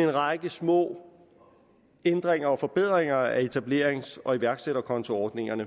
en række små ændringer og forbedringer af etablerings og iværksætterkontoordningerne